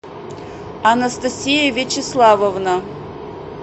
анастасия вячеславовна